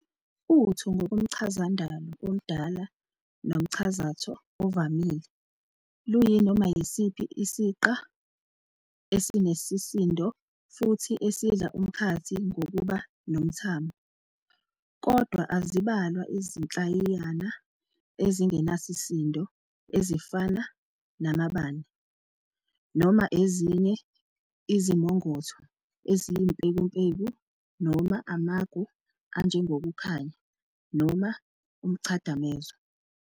uTho ngokomChazandalo omdala nomchazatho ovamile luyinoma yisiphi isiqa esinesisindo futhi esidla umkhathi ngokuba nomthamo. Kodwa azibalwa izinhlayiyana ezingenasisindo ezifana namaBane, noma ezinye izimongotho eziyimpekumpeku noma amaGu anjengokukhanya noma umChadamezo.